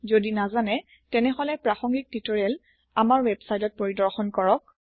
যদি নাজানে তেনেহলে প্ৰাসংগিক টিউটৰিয়েল আমাৰ ৱেবচাইটত পৰিদৰ্শন কৰক